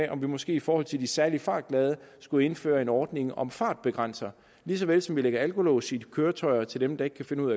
om vi måske i forhold til de særlig fartglade skulle indføre en ordning om fartbegrænser lige så vel som vi lægger alkolås i køretøjer til dem der ikke kan finde ud